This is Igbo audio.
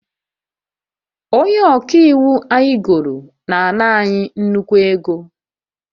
Onye ọka iwu anyị goro na-ana anyị nnukwu ego